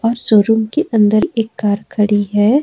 Showroom के अंदर एक कार खड़ी है।